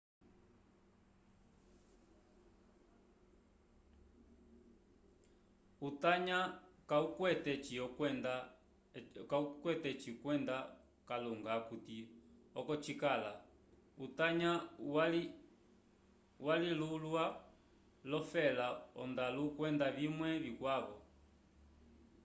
utanya kawukwete oci kwenda kalunga akuti oko cikala utanya walulikiwa l'olofela ondalu kwenda vimwe vikwavo